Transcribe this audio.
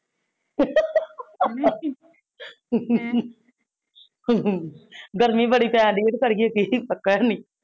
ਗਰਮੀ ਬੜੀ ਪੈਨ ਡੀਆ ਤੇ ਕਰੀਏ ਕੀ? ਪਖਾ ਹੇਨੀ